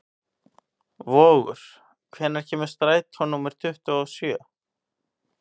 Vogur, hvenær kemur strætó númer tuttugu og sjö?